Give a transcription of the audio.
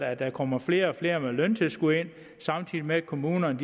at der kommer flere og flere ind med løntilskud samtidig med at kommunerne